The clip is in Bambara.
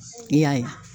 I y'a ye